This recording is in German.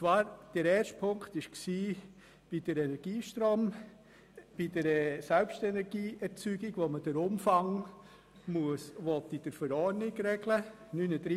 Der erste Punkt, Artikel 39 Absatz 2, betrifft die Selbstenergieerzeugung, deren Umfang in der Verordnung geregelt werden soll.